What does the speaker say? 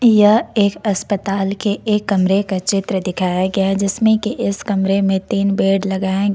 यह एक अस्पताल के एक कमरे का चित्र दिखाया गया है जिसमें कि इस कमरे में तीन बेड लगाए गए--